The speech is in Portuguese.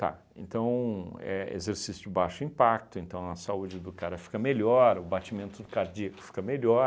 Tá, então é exercício de baixo impacto, então a saúde do cara fica melhor, o batimento do cardíaco fica melhor,